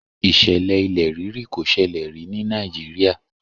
Ìṣẹ̀lẹ̀ kò sẹlẹ̀ rí ní Nàìjíríà